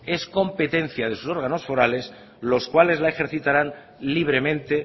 es competencia de sus órganos forales los cuales la ejercitarán libremente